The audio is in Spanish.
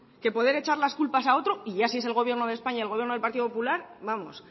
que poder echar las culpas a otro y ya si es el gobierno de españa y el gobierno del partido popular vamos